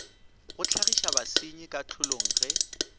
go hlagiša basenyi kahlolong ge